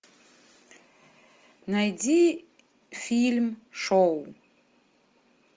найди фильм шоу